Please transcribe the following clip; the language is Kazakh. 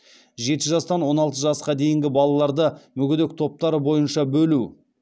жеті жастан он алты жасқа дейінгі балаларды мүгедек топтары бойынша бөлу